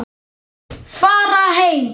Fara heim!